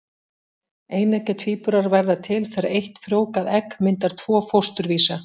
Eineggja tvíburar verða til þegar eitt frjóvgað egg myndar tvo fósturvísa.